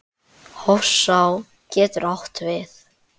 Hofsá getur átt við